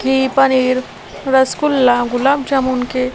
की पनीर रसगुल्ला गुलाब जामुन के --